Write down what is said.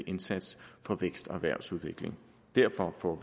indsats for vækst og erhvervsudvikling derfor får